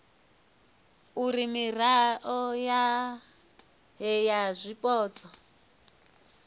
uri mirao yohe ya zwipotso